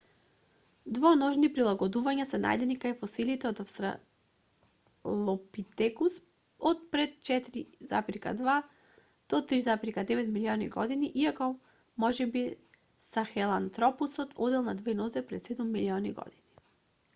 двоножни прилагодувања се најдени кај фосилите од австралопитекус од пред 4,2-3,9 милиони години иако можеби сахелантропусот одел на две нозе пред седум милиони години